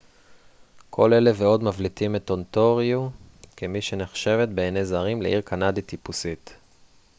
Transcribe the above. כל אלה ועוד מבליטים את אונטריו כמי שנחשבת בעיני זרים לעיר קנדית טיפוסית